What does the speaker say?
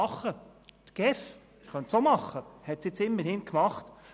Auch die GEF könnte es tun und hat es jetzt immerhin getan.